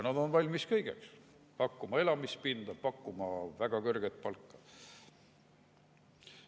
Nad on valmis kõigeks: pakkuma elamispinda, pakkuma väga kõrget palka.